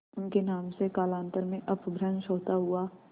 उनके नाम से कालांतर में अपभ्रंश होता हुआ